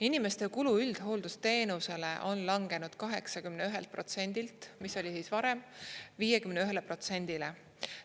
Inimeste kulu üldhooldusteenusele on langenud 81%-lt, mis oli varem, 51%-le.